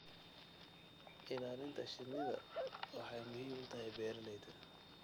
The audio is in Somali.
Ilaalinta shinnidu waxay muhiim u tahay beeralayda.